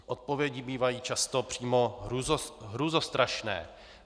Odpovědi bývají často přímo hrůzostrašné.